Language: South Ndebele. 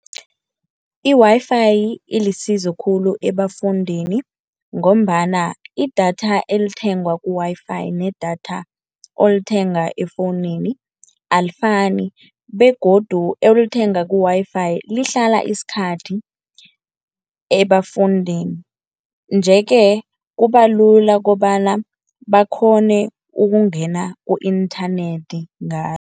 I-Wi-Fi ilisizo khulu ebafundini, ngombana idatha elithengwa ku-Wi-Fi nedatha olithenga efowunini alifani begodu olithenga ku-Wi-Fi lihlala isikhathi ebafundini. Nje-ke kuba lula kobana bakghone ukungena ku-inthanethi ngalo.